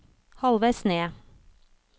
halvveis ned